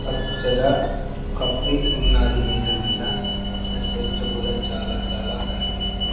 పచ్చగా కప్పి ఉన్నది నేల మీద ఇక్కడ చెట్లు కూడా చాలా చాలా కనిపిస్సు --